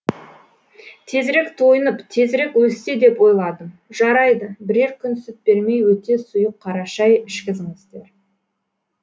тезірек тойынып тезірек өссе деп ойладым жарайды бірер күн сүт бермей өте сұйық қара шай ішкізіңіздер